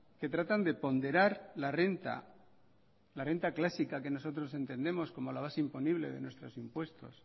que tratan de ponderar la renta la renta clásica que nosotros entendemos como la base imponible de nuestros impuestos